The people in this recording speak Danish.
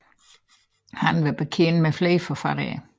Han var bekendt med flere forfattere